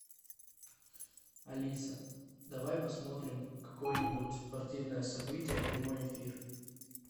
алиса давай посмотрим какое нибудь спортивное событие прямой эфир